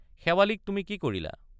শেৱালিক তুমি কি কৰিলা?